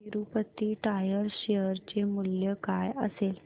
Tirupati tyres share चे मूल्य काय असेल